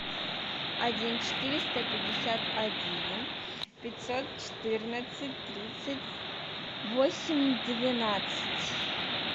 один четыреста пятьдесят один пятьсот четырнадцать тридцать восемь двенадцать